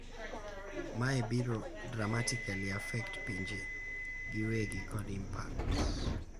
Mae biro dramatically affect pinje giwegi kod impact.